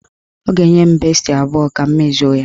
Ọ ga-enye m besti abụọ ka m mezuo ya.